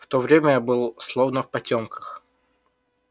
в то время я был словно в потёмках